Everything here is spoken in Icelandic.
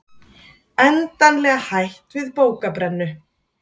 Endanlega hætt við bókabrennu